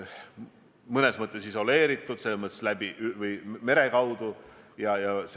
Nagu ma ütlesin, me tuleme ka selle teema juurde suure tõenäosusega tagasi täna peale kella kahte, kui me peale lõunat koguneme.